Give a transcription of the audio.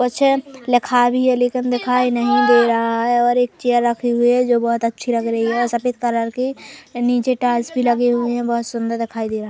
पछे लखावि है लेकिन दिखाई नहीं दे रहा है और एक चेयर रखी हुए है जो बोहोत अच्छी लग रही है सफेद कलर की नीचे टाइल्स भी लगे हुए है बोहोत सुंदर दिखाई दे रहा--